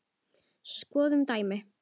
Skoðum dæmi